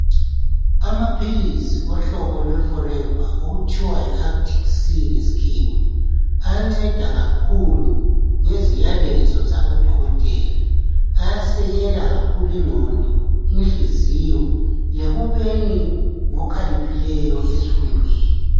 Amaphilisi ohlobo lwe Forever okuthiwa yi Arctic Sea ngesikhiwa, ayanceda kakhulu ngeziyalezo zabodokotela. Ayasekela kakhuku inqondo , inhliziyo ekubeni ngokhaliphileyo ezifundweni.